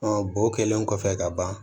bo kɛlen kɔfɛ ka ban